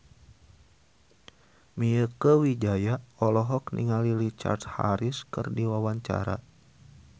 Mieke Wijaya olohok ningali Richard Harris keur diwawancara